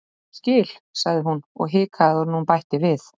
Ég skil- sagði hún og hikaði áður en hún bætti við:-